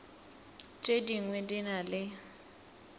tše dingwe di na le